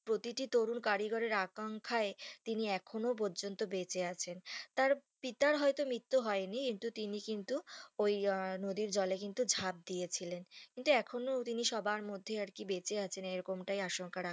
প্রতিটি তরুণ কারিগরের আকাঙ্খায় তিনি এখনো পর্যন্ত বেঁচে আছেন তার পিতার হয়তো মিত্যু হয়নি কিন্তু তিনি কিন্তু ওই নদীর জলে কিন্তু ঝাঁপ দিয়েছিলেন কিন্তু এখনো সবার মধ্যে তিনি বেঁচে আছেন এরকম আকাঙ্খায়